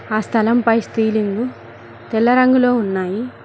ఆ స్థలం పై స్థిలింగు తెల్ల రంగులో ఉన్నాయి.